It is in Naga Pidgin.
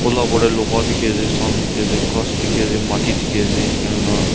ula upar teh loha dikhi ase sun dikhi ase ghass dikhi ase mati dikhi ase enka hoina--